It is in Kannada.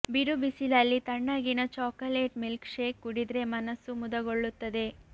ಬಿರು ಬಿಸಿಲಲ್ಲಿ ತಣ್ಣಗಿನ ಚಾಕಲೇಟ್ ಮಿಲ್ಕ್ ಶೇಕ್ ಕುಡಿದ್ರೆ ಮನಸ್ಸು ಮುದಗೊಳ್ಳುತ್ತದೆ